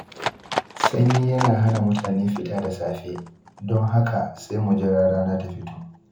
Sanyi yana hana mutane fita da safe, don haka sai mu jira rana ta fito.